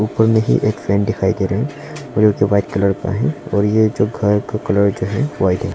कोई नहीं एक फ्रेंड दिखाई दे रही है और जो व्हाइट कलर का है और ये जो घर का कलर जो है व्हाइट है।